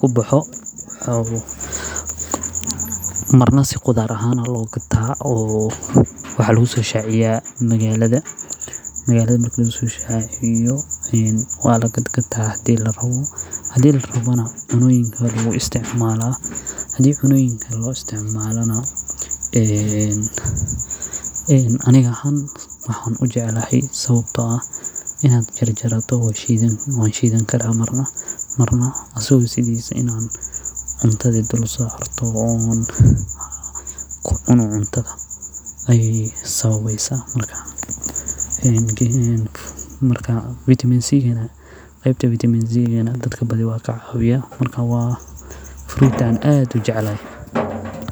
kubaxo, marna si qudaar ahaan ayaa loo gataa oo magalada ayaa lagu soo shaciyaa, hadii larabana waa lagataa hadii kalena cunooyinka loo isticmaala, aniga ahaan waxaan ujeclahay sababto ah marna waa shidan karaa marna asago tabtiisa cunta kucuni karaa, qebta vitamin dadka ayuu lacawiyaa, marka aad ayaan ujeclahay.